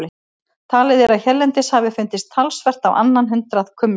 Talið er að hérlendis hafi fundist talsvert á annað hundrað kumla.